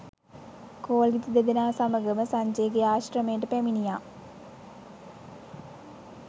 කෝලිත දෙදෙනා සමඟම සංජයගේ ආශ්‍රමයට පැමිණියා.